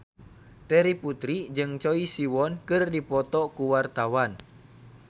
Terry Putri jeung Choi Siwon keur dipoto ku wartawan